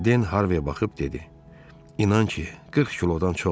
Den Harviyə baxıb dedi: İnan ki, 40 kilodan çoxdur.